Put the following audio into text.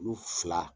Kulu fila